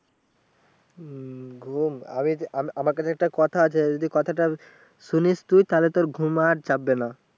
হম ঘুম আমাকে যে একটা কথা আছে যদি কথাটা শুনিস তুই তাহলে তোর ঘুম আর চাপবেনা